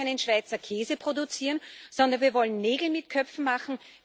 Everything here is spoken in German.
Und wir wollen keinen Schweizer Käse produzieren, sondern wir wollen Nägel mit Köpfen machen.